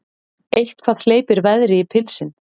Eitthvað hleypir veðri í pilsin